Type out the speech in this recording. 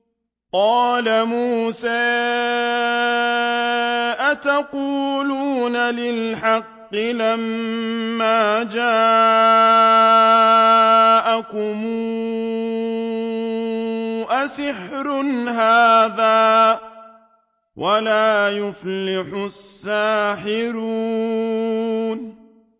قَالَ مُوسَىٰ أَتَقُولُونَ لِلْحَقِّ لَمَّا جَاءَكُمْ ۖ أَسِحْرٌ هَٰذَا وَلَا يُفْلِحُ السَّاحِرُونَ